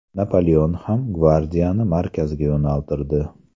Napoleon ham gvardiyani markazga yo‘naltirdi.